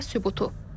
Bu da sübutu.